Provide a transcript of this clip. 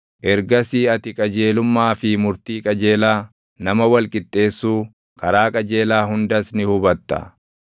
Ergasii ati qajeelummaa fi murtii qajeelaa, nama wal qixxeessuu, karaa qajeelaa hundas ni hubatta.